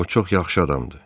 O çox yaxşı adamdır.